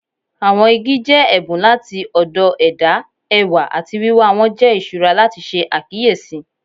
Awọn igi jẹ ẹbun lati ọdọ ẹda, ẹwa ati wiwa wọn jẹ iṣura lati ṣe akiyesi.